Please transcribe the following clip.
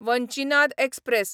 Vanchinad express